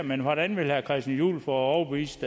men hvordan vil herre christian juhl få overbevist